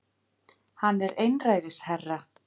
Hann er einræðisherra